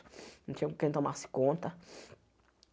Não tinha com quem tomasse conta.